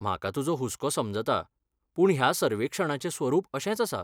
म्हाका तुजो हुस्को समजता, पूण ह्या सर्वेक्षणाचें स्वरूप अशेंच आसा.